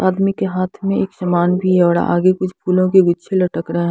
आदमी के हाथ में एक सामान भी है और आगे कुछ फूलों के गुच्छे लटक रहे हैं।